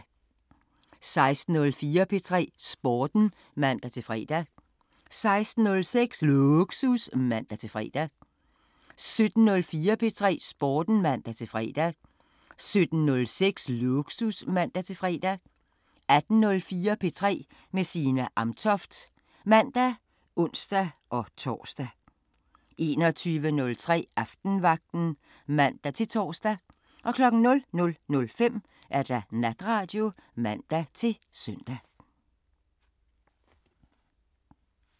16:04: P3 Sporten (man-fre) 16:06: Lågsus (man-fre) 17:04: P3 Sporten (man-fre) 17:06: Lågsus (man-fre) 18:04: P3 med Signe Amtoft (man og ons-tor) 21:03: Aftenvagten (man-tor) 00:05: Natradio (man-søn)